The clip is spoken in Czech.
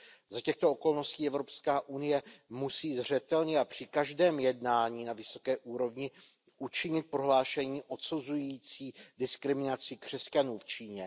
Za těchto okolností Evropská unie musí zřetelně a při každém jednání na vysoké úrovni učinit prohlášení odsuzující diskriminaci křesťanů v Číně.